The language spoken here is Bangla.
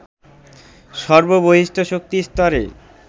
সর্ব বহিঃস্থ শক্তি স্তরে